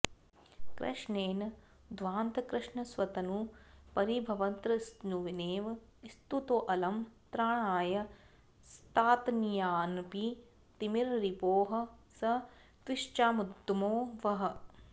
कृष्णेन ध्वान्तकृष्णस्वतनुपरिभवत्रस्नुनेव स्तुतोऽलं त्राणाय स्तात्तनीयानपि तिमिररिपोः स त्विषामुद्गमो वः